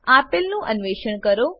આપેલનું અન્વેષણ કરો 1